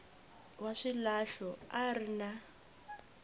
wa swilahlo a ri na